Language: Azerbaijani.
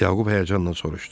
Yaqub həyəcanla soruşdu.